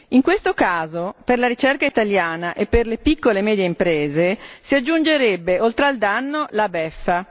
In questo caso, per la ricerca italiana e per le piccole e medie imprese si aggiungerebbe, oltre al danno, la beffa.